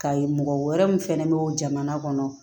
Ka ye mɔgɔ wɛrɛ min fɛnɛ be jamana kɔnɔ